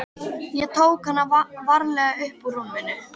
Ég tók hana varlega upp úr rúminu.